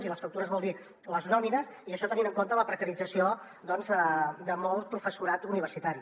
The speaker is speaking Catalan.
i les factures vol dir les nòmines i això tenint en compte la precarització de molt professorat universitari